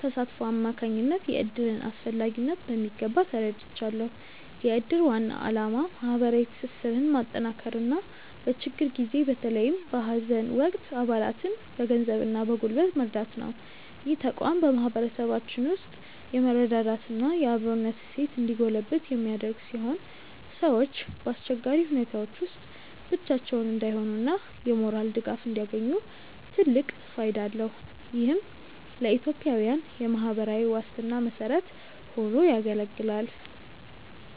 ተሳትፎ አማካኝነት የእድርን አስፈላጊነት በሚገባ ተረድቻለሁ። የእድር ዋና ዓላማ ማህበራዊ ትስስርን ማጠናከርና በችግር ጊዜ በተለይም በሀዘን ወቅት አባላትን በገንዘብና በጉልበት መርዳት ነው። ይህ ተቋም በማህበረሰባችን ውስጥ የመረዳዳትና የአብሮነት እሴት እንዲጎለብት የሚያደርግ ሲሆን፣ ሰዎች በአስቸጋሪ ሁኔታዎች ውስጥ ብቻቸውን እንዳይሆኑና የሞራል ድጋፍ እንዲያገኙ ትልቅ ፋይዳ አለው። ይህም ለኢትዮጵያዊያን የማህበራዊ ዋስትና መሰረት ሆኖ ያገለግላል።